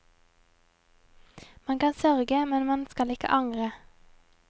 Man kan sørge, men man skal ikke angre.